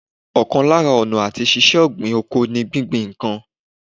Ọ̀kan lára ọ̀nà àti ṣíṣe ọ̀gbìn oko ní gbíngbin ìkan